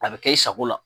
A bɛ kɛ i sago la